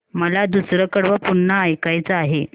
मला दुसरं कडवं पुन्हा ऐकायचं आहे